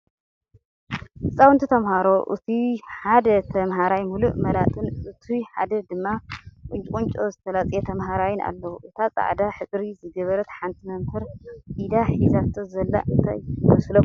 ህፃውንቲ ተማህሮ እቱይ ሓደ ተማህራይ ሙሉእ መላጥን እቱይ ሓደ ድማ ቁንጫቁንጮ ዝተላፀየ ተማህራይን ኣለው። እታ ፃዕዳ ሕብሪ ዝገበረት ሓንቲ መምህር ኣብ ኢዳ ሒዛቶ ዘላ እንታይ ይመስለኩም?